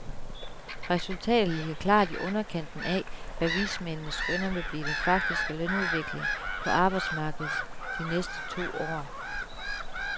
Resultat ligger klart i underkanten af, hvad vismændene skønner vil blive den faktiske lønudvikling på arbejdsmarkedet de næste to år.